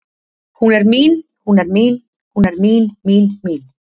Hún er mín, hún er mín, hún er mín, mín, mín